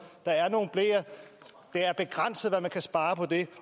der er nogle bleer det er begrænset hvad man kan spare på det